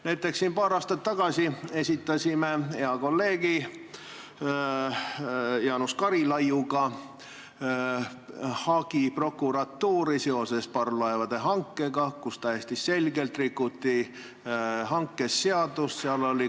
Näiteks esitasime paar aastat tagasi hea kolleegi Jaanus Karilaidiga prokuratuuri hagi seoses parvlaevade hankega, kus täiesti selgelt rikuti riigihangete seadust.